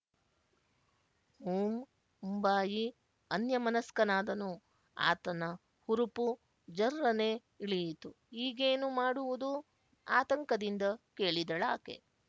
ಹುಂ ಉಂಬಾಯಿ ಅನ್ಯಮನಸ್ಕನಾದನು ಆತನ ಹುರುಪು ಜರ್ರನೆ ಇಳಿಯಿತು ಈಗೇನು ಮಾಡುವುದು ಆತಂಕದಿಂದ ಕೇಳಿದಳಾಕೆ